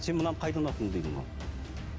сен мынаны қайдан алдың деді маған